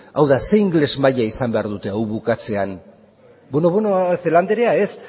hau da zein ingeles maila izan behar dute hau bukatzean bueno bueno celaá anderea ez